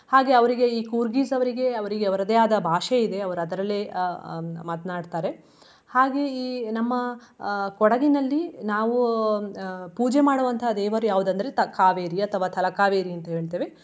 ಹಾಗೆ ಅವ್ರಿಗೆ ಈ ಕೂರ್ಗಿಸ್ ಅವ್ರಿಗೆ ಅವ್ರಿಗೆ ಅವ್ರದೆ ಆದ ಭಾಷೆಯಿದೆ ಅವ್ರ ಅದ್ರಲ್ಲೆ ಅಹ್ ಅಹ್ ಹ್ಮ್ ಮಾತ್ನಾಡ್ತಾರೆ. ಹಾಗೆ ಈ ನಮ್ಮ ಅಹ್ ಕೊಡಗಿನಲ್ಲಿ ನಾವು ಅಹ್ ಪೂಜೆ ಮಾಡುವಂತಹ ದೇವರು ಯಾವ್ದ ಅಂದ್ರೆ ಕಾವೇರಿ ಅಥವಾ ತಲಕಾವೇರಿ ಅಂತ ಹೇಳ್ತೇವೆ.